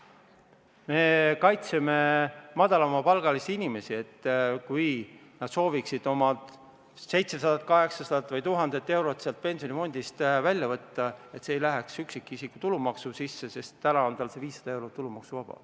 Me kaitseme madalapalgalisi inimesi, et kui nad soovivad oma 700–800 või 1000 eurot pensionifondist välja võtta, siis see ei läheks üksikisiku tulumaksu sisse, sest täna on neil 500 eurot tulumaksuvaba.